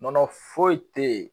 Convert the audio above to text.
Nɔnɔ foyi tɛ yen